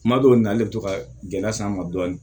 Kuma dɔw na ale bi to ka gɛlɛya s'an ma dɔɔni